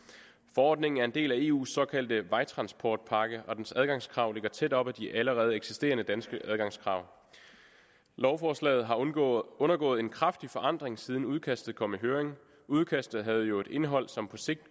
forordningen er en del af eus såkaldte vejtransportpakke og dens adgangskrav ligger tæt op ad de allerede eksisterende danske adgangskrav lovforslaget har undergået undergået en kraftig forandring siden udkastet kom i høring udkastet havde jo et indhold som på sigt